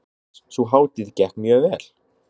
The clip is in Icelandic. Jóhannes: Sú hátíð gekk mjög vel?